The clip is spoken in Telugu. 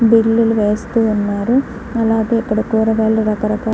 బిల్లులు వేస్తూ ఉన్నారు అలాగే ఇక్కడ కూరగాయలు రకరకాల --